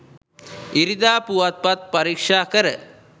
ඉරිදා පුවත්පත් පරීක්ෂා කර